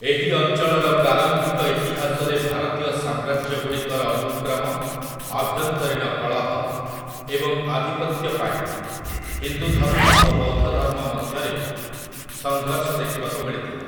ଏହି ଅଞ୍ଚଳର ପ୍ରାରମ୍ଭିକ ଇତିହାସରେ ଭାରତୀୟ ସାମ୍ରାଜ୍ୟଗୁଡ଼ିକର ଅନୁକ୍ରମ, ଆଭ୍ୟନ୍ତରୀଣ କଳହ, ଏବଂ ଆଧିପତ୍ୟ ପାଇଁ ହିନ୍ଦୁଧର୍ମ ଓ ବୌଦ୍ଧଧର୍ମ ମଧ୍ୟରେ ସଙ୍ଘର୍ଷ ଦେଖିବାକୁ ମିଳିଥିଲା ।